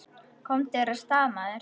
Komdu þér af stað, maður!